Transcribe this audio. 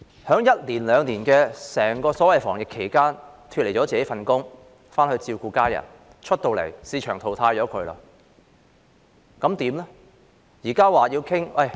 在一兩年的整個所謂防疫期間，他們脫離了自己的工作，回去照顧家人，出來後已被市場淘汰，怎麼辦呢？